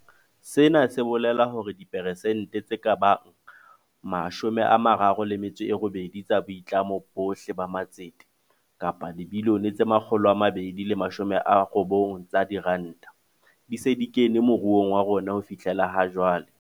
Sena se bolela hore dipersente tse ka bang 38 tsa boitlamo bohle ba matsete - kapa dibilione tse 290 tsa diranta - di se di kene mo ruong wa rona ho fihlela jwale.